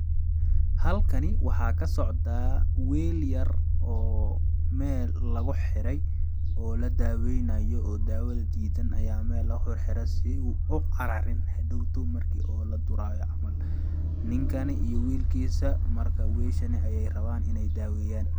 Halkan waxaa ka socdaa weel yar oo meel lagu xiray oo la daaweynaayo oo daawada diidan ayaa meel lagu xirxire si uu u cararin hadhowto marki oo la duraayo camal ,ninkani iyo wiil kiisa marka weeshani ayeey rabaan ineey daaweyaan.